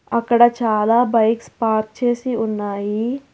అక్కడ చాలా bikes park చేసి ఉన్నాయి.